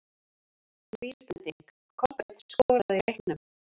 Vísbending: Kolbeinn skoraði í leiknum?